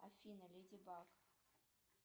афина леди баг